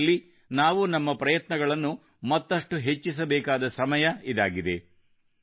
ಈ ನಿಟ್ಟಿನಲ್ಲಿ ನಾವು ನಮ್ಮ ಪ್ರಯತ್ನಗಳನ್ನು ಮತ್ತಷ್ಟು ಹೆಚ್ಚಿಸಬೇಕಾದ ಸಮಯ ಇದಾಗಿದೆ